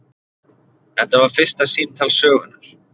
Þetta var fyrsta símtal sögunnar.